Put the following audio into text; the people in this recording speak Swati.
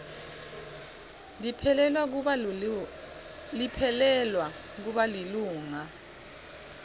liphelelwa kuba lilunga